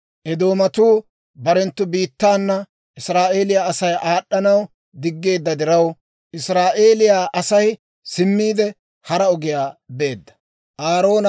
Eedoomatuu barenttu biittaana Israa'eeliyaa Asay aad'd'anaw diggeedda diraw, Israa'eeliyaa Asay simmiide hara ogiyaa beedda.